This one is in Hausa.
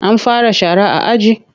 An fara shara a aji?